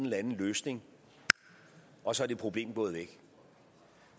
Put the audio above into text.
løsning og så er det problem gået væk